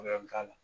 k'a la